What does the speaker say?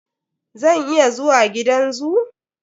Zan iya zuwa gidan zoo?